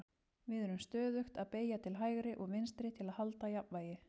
við erum stöðugt að beygja til hægri og vinstri til að halda jafnvægi